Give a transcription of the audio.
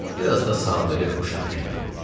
Biraz da sadəlövh uşaq kimiyəm.